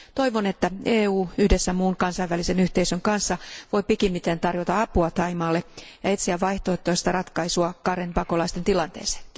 Toivon, että EU yhdessä muun kansainvälisen yhteisön kanssa voi pikimmiten tarjota apua Thaimaalle ja etsiä vaihtoehtoista ratkaisua karenipakolaisten tilanteeseen.